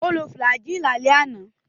Ó lo Flagyl lálẹ́ àná.